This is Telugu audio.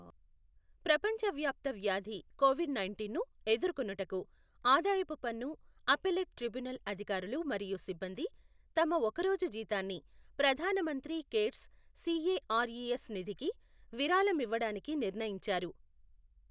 ప్రపంచ వ్యాప్త వ్యాధి కొవిడ్ నైంటీన్ను ఎదుర్కొనుటకు ఆదాయపు పన్ను అప్పెల్లేట్ ట్రిబ్యునల్ అధికారులు మరియు సిబ్బంది తమ ఒక రోజు జీతాన్ని ప్రధాన మంత్రి కేర్స్ సిఏఆర్ఇఎస్ నిధికి విరాళమివ్వడానికి నిర్ణయించారు.